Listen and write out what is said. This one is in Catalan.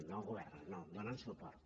no governen no donen suport